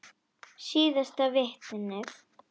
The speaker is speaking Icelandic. Síðasta vitnið.